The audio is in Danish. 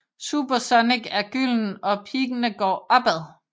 Super Sonic er gylden og Piggene går opad